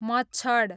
मच्छड